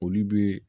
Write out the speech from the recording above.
Olu bɛ